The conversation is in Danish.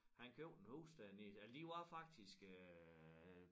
Han købte en hus dernede eller de var faktisk øh